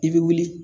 I bɛ wuli